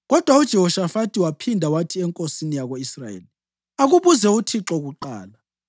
Kodwa uJehoshafathi waphinda wathi enkosini yako-Israyeli, “Akubuze kuThixo kuqala.”